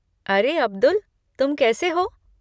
अरे अब्दुल, तुम कैसे हो?